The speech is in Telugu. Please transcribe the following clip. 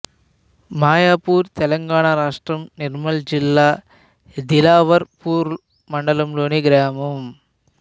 మాయాపూర్ తెలంగాణ రాష్ట్రం నిర్మల్ జిల్లా దిలావర్ పూర్ మండలంలోని గ్రామం